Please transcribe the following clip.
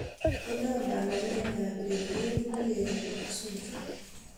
inaam panganet ab ureryet nelel nebo zuchu